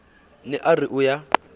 ne a re o ya